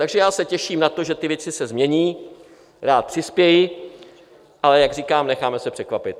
Takže já se těším na to, že ty věci se změní, rád přispěji, ale jak říkám, necháme se překvapit.